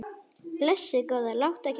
Blessuð góða, láttu ekki svona.